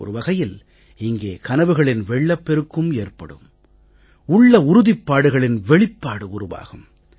ஒரு வகையில் இங்கே கனவுகளின் வெள்ளப்பெருக்கும் ஏற்படும் உள்ள உறுதிப் பாடுகளின் வெளிப்பாடு உருவாகும்